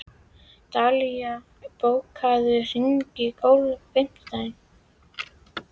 Dallilja, bókaðu hring í golf á fimmtudaginn.